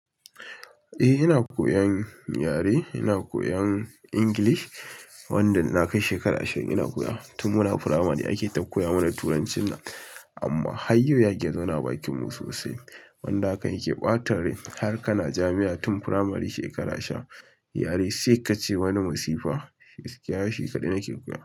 Eh ina koyan yare, ina koyan English wanda na kai shekara ashirin ina koyan tun muna primary ake ta koya mana turancin nan. Amma har yau ya ki zauna a bakin mu sosai. Wanda hakan yake ɓatan rai har kana jami'a tun primary shekara ashirin, yare sai kace wani masifa. Gaskiya shi kaɗai nake koya.